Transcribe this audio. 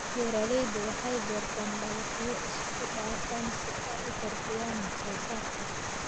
Beeraleydu waxay beertaan dalagyo isku dhafan si ay u kordhiyaan wax soo saarka.